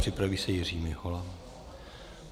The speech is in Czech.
Připraví se Jiří Mihola.